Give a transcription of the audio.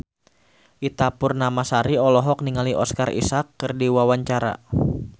Ita Purnamasari olohok ningali Oscar Isaac keur diwawancara